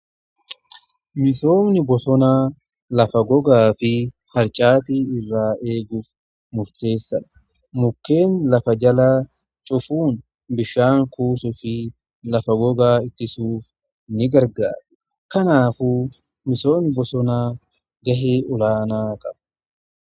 Misoonni bosonaa lafa gogaa fi harcaati irraa eeguuf murteessadha mukkeen lafa jalaa cufuun bishaan kuusu fi lafa gogaa ittisuuf ni gargaara. Kanaaf misoonni bosonaa ga'ee olaanaa qabu.